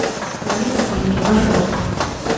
планета плитки маршрут